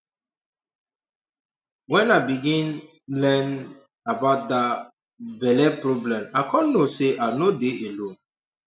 when i begin um learn about that um belle problem i come know say i no dey alone